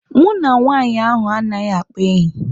Mụ na nwaanyị ahụ anaghị akpa enyi.